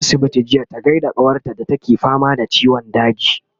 taje asibiti jiya ta gaida kawar ta da take fama da ciwon daji